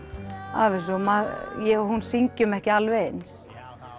af þessu ég og hún syngjum ekki alveg eins